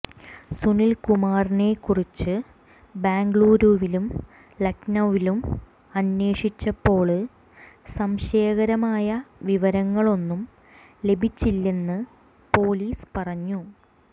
സുനില്കുമാറിനെക്കുറിച്ച് ബംഗളൂരുവിലും ലഖ്നൌവിലും അന്വേഷിച്ചപ്പോള് സംശയകരമായ വിവരങ്ങളൊന്നും ലഭിച്ചില്ലെന്ന് പോലീസ് പറഞ്ഞു